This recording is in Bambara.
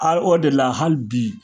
A o de la hali bi